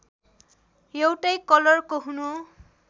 एउटै कलरको हुनु